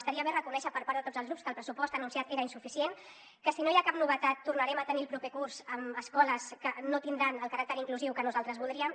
estaria bé reconèixer per part de tots els grups que el pressupost anunciat era insuficient que si no hi ha cap novetat tornarem a tenir el proper curs escoles que no tindran el caràcter inclusiu que nosaltres voldríem